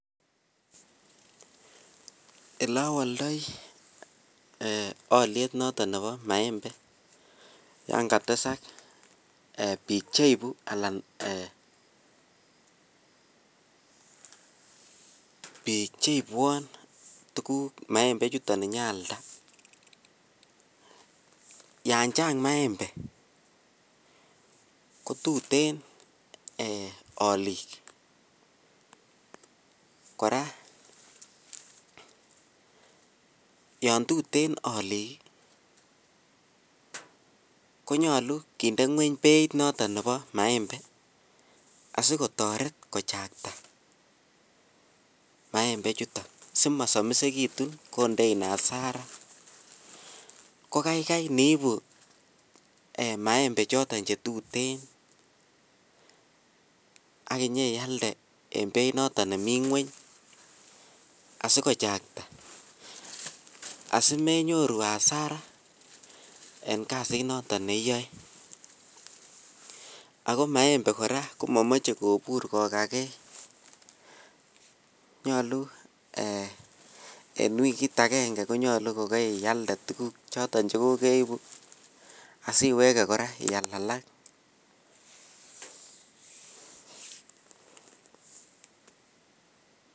Ole awoldoi beit noton nebo maembe olon katesak bik choton Che ibwon maembe anyon aalda yon Chang maembe ko tuten alik kora yon tuten alik ko nyolu kinde ngwony beit noton nebo maembe asi kotoret kochakta maembe chuton asi mosomisekitun kindein hasara ko kaigai iniibu maembe choton Che tuten ak inyon ialde en beit noton nemi ngwony asi kochakta asi menyoru hasara en kasit noton neyoe ako maembe kora ko momoche kobur kogage nyolu en wikit agenge ko nyolu kokialde tuguk choton Che kokeibu asi iwege kora ial alak